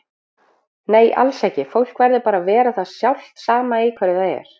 Nei alls ekki, fólk verður bara að vera það sjálft sama í hverju það er.